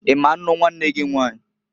I ma nnu nwanne gị Nwanyiǃ